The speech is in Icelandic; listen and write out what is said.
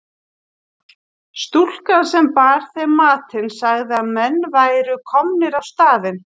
Stúlkan sem bar þeim matinn sagði að menn væru komnir á staðinn.